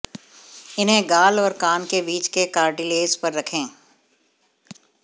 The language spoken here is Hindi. इन्हें गाल और कान के बीच के कार्टिलेज पर रखें